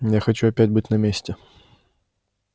я хочу опять быть на месте